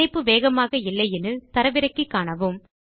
இணைப்பு வேகமாக இல்லை எனில் அதை தரவிறக்கி காணுங்கள்